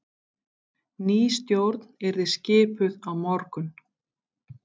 Ný stjórn yrði skipuð á morgun